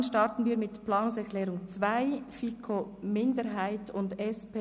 Dann starten wir mit der Planungserklärung 2.